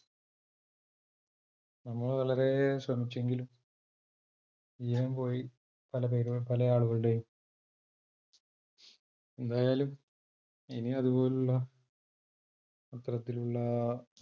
നമ്മൾ വളരെ ശ്രമിച്ചെങ്കിലും ജീവൻ പോയ് പല ആളുകളുടെയും, എന്തായാലും ഇനിയും അതുപോലുള്ള അത്തരത്തിലുള്ള